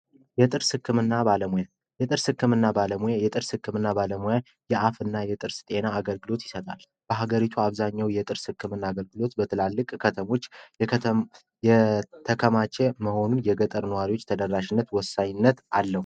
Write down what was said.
የጥርስ ህክምና ባለሙያ የጥርስ ህክምና ባለሙያ የጥርስ ህክምና ባለሙያ የአፍ እና የጥርስ ጤና አገልግሎት ይሰጣል በሀገሪቱ አብዛኛው የጥርስ ህክምና አገልግሎት በትላልቅ ከተሞች የከተማቸው መሆኑን የገጠር ነዋሪዎች ተደራሽነት ወሳኝነት አለው